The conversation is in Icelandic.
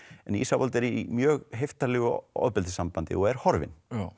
en Ísafold er í mjög heiftarlegu ofbeldissambandi og er horfin